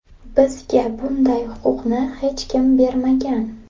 Bizga bunday huquqni hech kim bermagan.